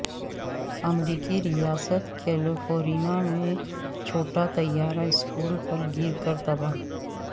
امریکی ریاست کیلیفورنیا میں میں چھوٹا طیارہ سکول پر گر کر تباہ